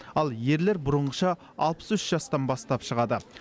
ал ерлер бұрынғыша алпыс үш жастан бастап шығады